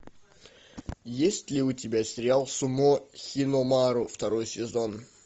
есть ли у тебя сериал сумо хиномару второй сезон